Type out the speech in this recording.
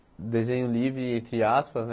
Desenho livre, entre aspas né.